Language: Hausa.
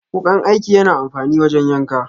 Wukan aiki yana amfani wajen yanka.